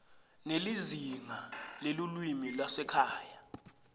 nelizingaa lelulwimi lwasekhaya